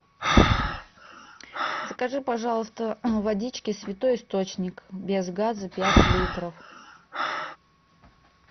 закажи пожалуйста водички святой источник без газа пять литров